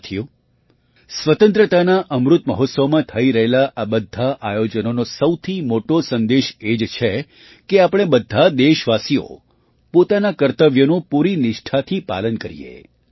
સાથીઓ સ્વતંત્રતાના અમૃત મહોત્સવમાં થઈ રહેલા આ બધાં આયોજનોનો સૌથી મોટો સંદેશ એ જ છે કે આપણે બધા દેશવાસીઓ પોતાના કર્તવ્યનું પૂરી નિષ્ઠાથી પાલન કરીએ